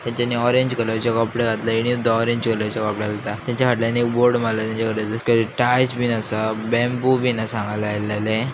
हेंचानी ऑरेंज कलरचे कपडे घातल्या हेणेसुद्धा ऑरेंज कलरचे कपडे घालता तेंचे फाटल्यान एक बोर्ड मारलेलो तेंचेकडे जर किये टाईल्स बिन आसा बेंबू बिन आसा हांगार लायलायल्ले.